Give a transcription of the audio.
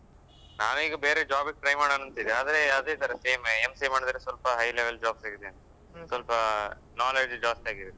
ನಾವೆ ಈಗ ಬೇರೆ job ಗೆ try ಮಾಡೋಣ ಅಂತ ಇದ್ದೇವೆ ಆದ್ರೆ ಅದೆ ತರ same MCA ಮಾಡಿದ್ರೆ ಸ್ವಲ್ಪ high level job ಸಿಗುತ್ತೆ ಅಂತ ಸ್ವಲ್ಪ knowledge ಜಾಸ್ತಿ ಆಗಿ ಇರುತ್ತೆ.